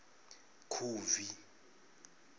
khubvi